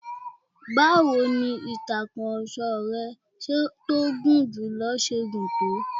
Báwọ ni ìtakurọ̀sọ rẹ tí ó gùn jùlọ ṣe gùn tó?